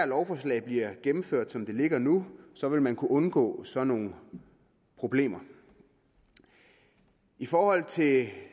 lovforslag bliver gennemført som det ligger nu så vil man kunne undgå sådan nogle problemer i forhold til